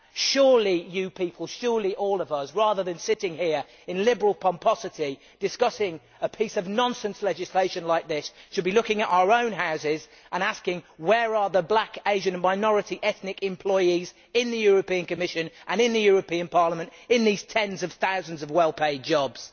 Surely you people surely all of us rather than sitting here in liberal pomposity discussing a piece of nonsense legislation like this, should be looking at our own houses and asking where are the black, Asian and minority ethnic employees in the European Commission and in the European Parliament in these tens of thousands of well paid jobs?